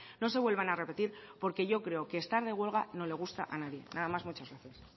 no se vuelvan a repetir porque yo creo que estar de huelga no le gusta a nadie nada más muchas gracias